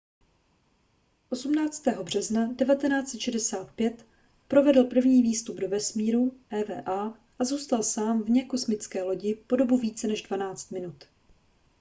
18. března 1965 provedl první výstup do vesmíru eva a zůstal sám vně kosmické lodi po dobu více než dvanáct minut